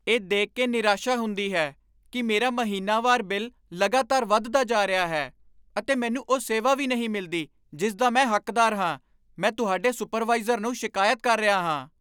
ਇਹ ਦੇਖ ਕੇ ਨਿਰਾਸ਼ਾ ਹੁੰਦੀ ਹੈ ਕਿ ਮੇਰਾ ਮਹੀਨਾਵਾਰ ਬਿੱਲ ਲਗਾਤਾਰ ਵਧਦਾ ਜਾ ਰਿਹਾ ਹੈ, ਅਤੇ ਮੈਨੂੰ ਉਹ ਸੇਵਾ ਵੀ ਨਹੀਂ ਮਿਲਦੀ ਜਿਸ ਦਾ ਮੈਂ ਹੱਕਦਾਰ ਹਾਂ। ਮੈਂ ਤੁਹਾਡੇ ਸੁਪਰਵਾਈਜ਼ਰ ਨੂੰ ਸ਼ਿਕਾਇਤ ਕਰ ਰਿਹਾ ਹਾਂ।